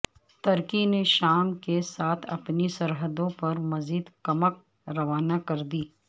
ترکی نے شام کے ساتھ اپنی سرحدوں پرمزید کمک روانہ کردی